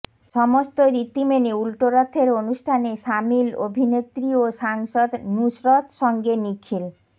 সমস্ত রীতি মেনে উল্টোরথের অনুষ্ঠানে সামিল অভিনেত্রী ও সাংসদ নুসরত সঙ্গে নিখিল